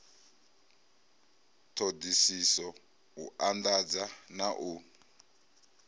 ṱhoḓisiso u anḓadza na u